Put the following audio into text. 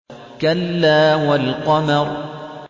كَلَّا وَالْقَمَرِ